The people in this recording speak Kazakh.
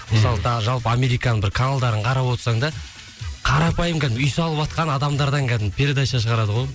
мысалы тағы жалпы американың бір каналдарын қарап отырсаң да қарапайым кәдімгі үй салыватқан адамдардан кәдімгі передача шығарады ғой